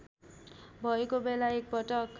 भएको बेला एकपटक